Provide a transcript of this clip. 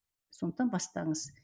сондықтан бастаңыз